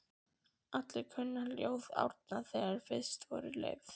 Allir kunnu ljóð Árna, þegar fyrst voru leyfð